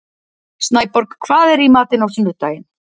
Snæborg, hvað er í matinn á sunnudaginn?